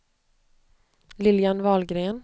Lilian Wahlgren